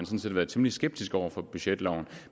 set været temmelig skeptiske over for budgetloven